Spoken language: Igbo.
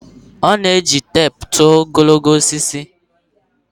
A na-eji teepu tụọ ogologo osisi